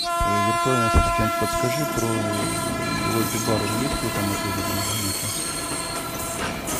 виртуальный ассистент подскажи про лобби бар он есть в этом отеле или его нету